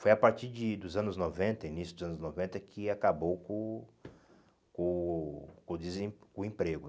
Foi a partir de dos anos noventa, início dos anos noventa, que acabou com o com o desem o emprego.